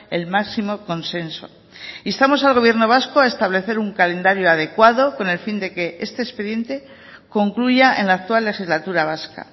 el máximo consenso instamos al gobierno vasco a establecer un calendario adecuado con el fin de que este expediente concluya en la actual legislatura vasca